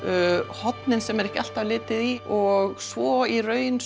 hornin sem er ekki alltaf litið í og svo í raun